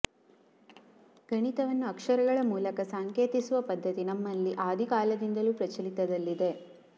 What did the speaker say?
ಗಣಿತವನ್ನು ಅಕ್ಷರಗಳ ಮೂಲಕ ಸಾಂಕೇತಿಸುವ ಪದ್ದತಿ ನಮ್ಮಲ್ಲಿ ಆದಿ ಕಾಲದಿಂದಲೂ ಪ್ರಚಲಿತದಲ್ಲಿದೆ